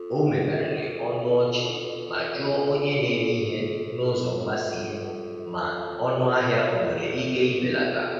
O megharịrị ọnụ ọchị ma jụọ onye na-ere ihe n’ụzọ mgbasa ihu ma ọnụahịa onwere ike ibelata.